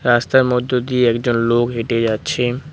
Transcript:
রাস্তার মধ্য দিয়ে একজন লোক হেঁটে যাচ্ছে।